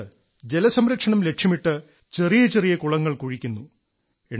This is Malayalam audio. അതുകൊണ്ട് ജലസംരക്ഷണം ലക്ഷ്യമിട്ട് ചെറിയ ചെറിയ കുളങ്ങൾ കുഴിക്കുന്നു